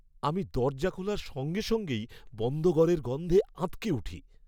আমি দরজা খোলার সঙ্গে সঙ্গেই বন্ধ ঘরের গন্ধে আঁতকে উঠি।